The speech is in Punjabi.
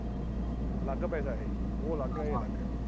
ਅਲੱਗ ਪੈਸਾ ਇਹ। ਉਹ ਅਲੱਗ ਏ। ਇਹ ਅਲੱਗ ਏ।